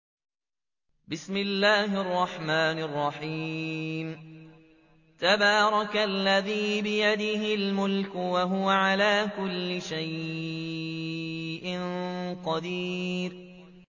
تَبَارَكَ الَّذِي بِيَدِهِ الْمُلْكُ وَهُوَ عَلَىٰ كُلِّ شَيْءٍ قَدِيرٌ